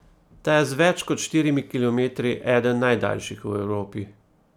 Ta je z več kot štirimi kilometri eden najdaljših v Evropi.